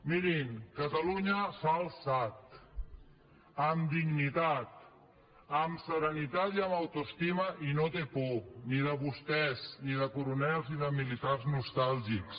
mirin catalunya s’ha alçat amb dignitat amb serenitat i amb autoestima i no té por ni de vostès ni de coronels i militars nostàlgics